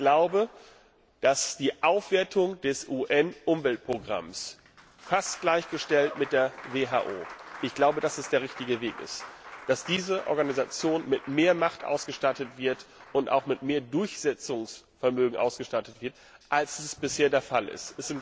Ich glaube, dass die Aufwertung des UN Umweltprogramms fast gleichgestellt mit der WHO der richtige Weg ist, dass diese Organisation mit mehr Macht ausgestattet wird und auch mit mehr Durchsetzungsvermögen, als es bisher der Fall ist.